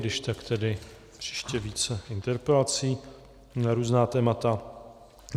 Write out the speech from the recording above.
Když tak tedy příště více interpelací na různá témata.